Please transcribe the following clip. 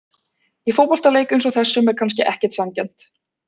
Í fótboltaleik eins og þessum er kannski ekkert sanngjarnt.